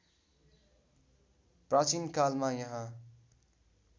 प्राचीन कालमा यहाँ